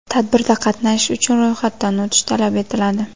Tadbirda qatnashish uchun ro‘yxatdan o‘tish talab etiladi.